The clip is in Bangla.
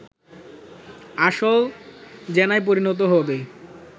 আসল জেনায় পরিণত হবে